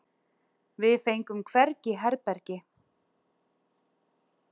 Við fengum hvergi herbergi.